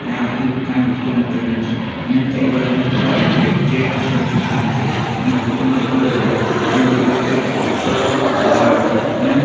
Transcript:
ત્યાં આખી કઈ વસ્તુ મૂકેલી નથી અને ટેબલ અને ખુરશીઓ છે જે આખે આખી ખાલી છે અને ખુરશીઓનો કલર વાઈટ છે અને દિવાલ પર પોસ્ટર લગાવેલ છે અને--